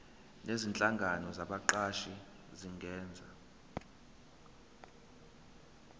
nezinhlangano zabaqashi zingenza